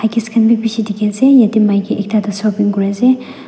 huggies kan be bishi dikhi ase yate maiki ekta tu shopping kure ase.